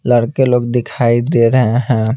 लड़के लोग दिखाई दे रहे हैं।